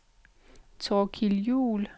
Thorkild Juhl